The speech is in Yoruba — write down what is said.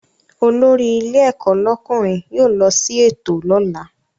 Olórí ilé ẹ̀kọ́ lọ́kùnrin yóò lọ sí ètò lọ́la